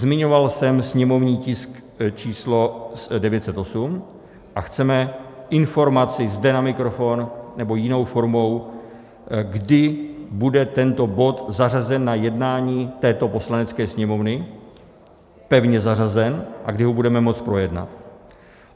Zmiňoval jsem sněmovní tisk číslo 908, a chceme informaci zde na mikrofon nebo jinou formou, kdy bude tento bod zařazen na jednání této Poslanecké sněmovny, pevně zařazen, a kdy ho budeme moct projednat.